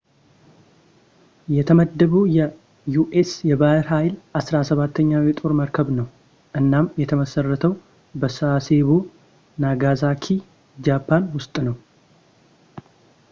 የተመደበው ለዩ.ኤስ. የባህር ኃይል አስራ ሰባተኛው የጦር መርከብ ነው፤ እናም የተመሰረተው በሳሴቦ፣ ናጋሳኪ ጃፓን ውስጥ ነው